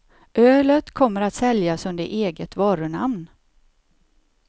Ölet kommer att säljas under eget varunamn.